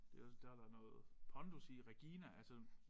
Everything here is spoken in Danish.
Det der da noget pondus i Regina altså